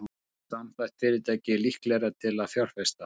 Samþætt fyrirtæki líklegra til að fjárfesta